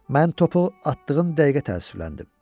Mən topu atdığım dəqiqə təəssüfləndim.